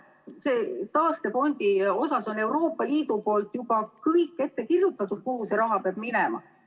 Selle taastefondi puhul on Euroopa Liit juba kõik ette kirjutanud, kuhu see raha peab minema.